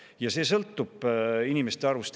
Ja see sõltub inimeste arvust.